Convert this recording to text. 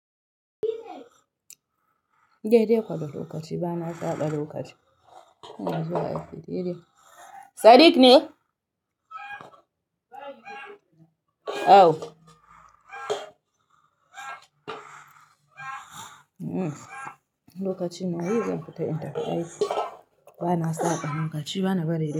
Dai dai kuwa da lokaci. Ba na saɓa lokaci. Aiko dai dai, Sadiq ne? Awo. Lokaci na yi zan fita in tafi aiki. Ba na saɓa lokaci, ba na bari.